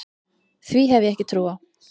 Því hef ég ekki trú á.